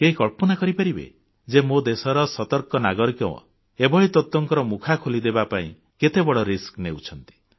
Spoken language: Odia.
କେହି କଳ୍ପନା କରିପାରିବେ ଯେ ମୋ ଦେଶର ସତର୍କ ନାଗରିକମାନେ ଏଭଳି ତତ୍ୱଙ୍କ ମୁଖା ଖୋଲିଦେବା ପାଇଁ କେତେବଡ଼ ବିପଦ ମୁଣ୍ଡ ଉପରକୁ ନେଇଛନ୍ତି